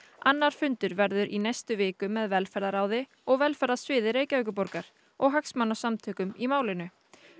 annar fundur verður í næstu viku með velferðarráði og velferðarsviði Reykjavíkurborgar og hagsmunasamtökum í málinu